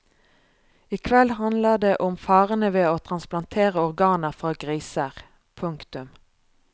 I kveld handler det om farene ved å transplantere organer fra griser. punktum